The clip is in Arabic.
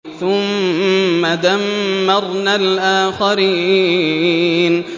ثُمَّ دَمَّرْنَا الْآخَرِينَ